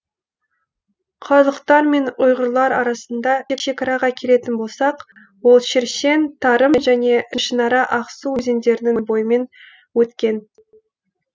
қарлұқтар мен ұйғырлар арасында шекараға келетін болсақ ол шершен тарым және ішінара ақсу өзендерінің бойымен өткен